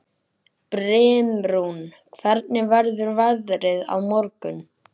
Brimrún, hvernig verður veðrið á morgun?